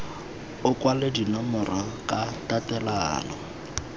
o kwale dinomoro ka tatelano